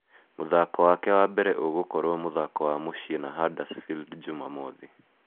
Muthako wake wa mbere ũgũkorwo mũthako wa mũcii na Huddersfield Jumamothi